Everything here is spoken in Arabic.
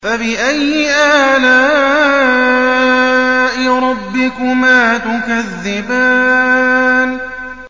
فَبِأَيِّ آلَاءِ رَبِّكُمَا تُكَذِّبَانِ